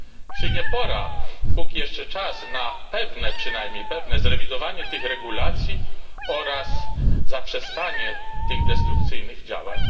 Czy nie jest pora póki jeszcze czas na przynajmniej pewne zrewidowanie tych regulacji oraz zaprzestanie tych destrukcyjnych działań?